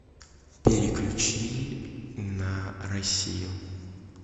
переключи на россию